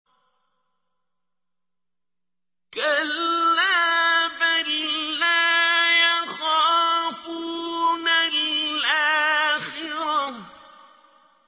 كَلَّا ۖ بَل لَّا يَخَافُونَ الْآخِرَةَ